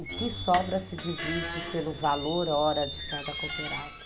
O que sobra se divide pelo valor hora de cada cooperado.